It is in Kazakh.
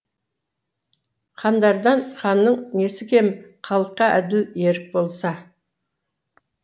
хандардан ханның несі кем халыққа әділ ерік болса